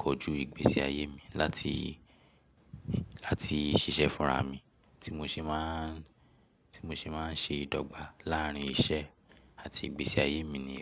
kojú ìgbésí ayé mi, láti, láti ṣiṣẹ́ fúnra mi. Ti mo ṣe máa ń, tí mo ṣe máa ń ṣe ìdọ́gba láàárín iṣẹ́ àti ìgbésí ayé mi ni.